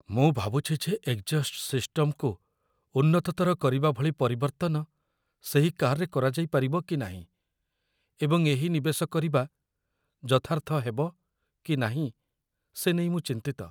ମୁଁ ଭାବୁଛି ଯେ ଏଗ୍‌ଜଷ୍ଟ ସିଷ୍ଟମ୍‌କୁ ଉନ୍ନତତର କରିବା ଭଳି ପରିବର୍ତ୍ତନ ସେହି କାର୍‌ରେ କରାଯାଇପାରିବ କି ନାହିଁ, ଏବଂ ଏହି ନିବେଶ କରିବା ଯଥାର୍ଥ ହେବ କି ନାହିଁ ସେ ନେଇ ମୁଁ ଚିନ୍ତିତ।